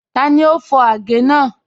Tani o fọ agẹ̀ naa?